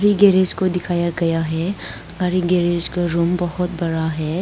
Garage को दिखाया गया हैं गाड़ी गैरेज का रूम बहोत बड़ा है।